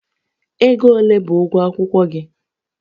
Ego ole bụ ụgwọ akwụkwọ gị?